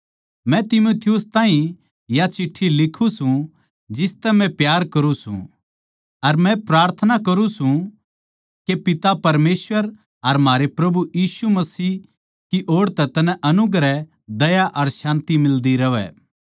मै तीमुथियुस ताहीं या चिट्ठी लिखूँ सूं जिसतै म्ह प्यार करुँ सूं अर मै प्रार्थना करुँ सूं के पिता परमेसवर अर म्हारै प्रभु मसीह यीशु की ओड़ तै तन्नै अनुग्रह दया अर शान्ति मिलदी रहवै